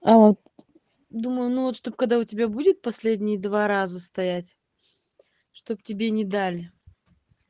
аа думаю ну вот чтоб когда у тебя будет последние два раза стоять чтобы тебе не дали